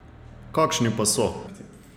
Kakšni pa so?